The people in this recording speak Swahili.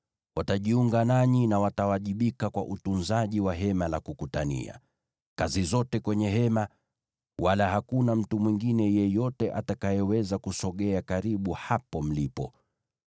Watajiunga nanyi na watawajibika kwa utunzaji wa Hema la Kukutania, yaani kazi zote kwenye Hema, wala hakuna mtu mwingine yeyote atakayeweza kusogea karibu hapo mlipo.